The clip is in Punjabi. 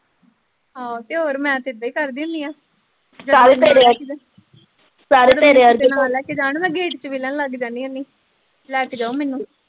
ਹਾ ਤੇ ਹੋਰ ਮੈਂ ਤੇ ਏਦਾਂ ਹੀ ਕਰਦੀ ਹੁੰਨੀ ਆ ਮੈਂ ਗੇਟ ਚ ਵਿੱਲਣ ਲੱਗ ਜਾਣੀ ਹੁੰਨੀ ਲੈ ਕੇ ਜਾਓ ਮੈਨੂੰ।